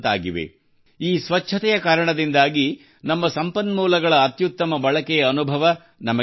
ಈ ಸ್ವಚ್ಛತೆಯ ಕಾರಣದಿಂದಾಗಿ ನಮ್ಮ ಸಂಪನ್ಮೂಲಗಳ ಅತ್ಯುತ್ತಮ ಬಳಕೆಯ ಅನುಭವ ನಮಗೆ ದೊರೆಯುತ್ತಿದೆ